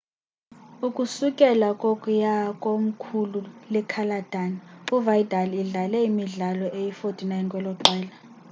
ukusukela kwokuya kwkomkhulu-le-catalan u-vidal idlale imidlalo eyi-49 kweloqela